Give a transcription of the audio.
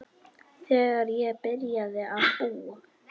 Þegar ég byrjaði að búa.